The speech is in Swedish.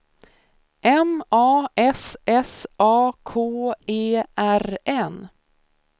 M A S S A K E R N